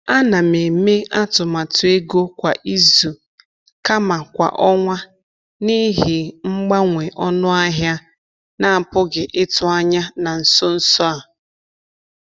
A na m eme atụmatụ ego kwa izu kama kwa ọnwa n’ihi mgbanwe ọnụ ahịa na-apụghị ịtụ anya na nso nso a.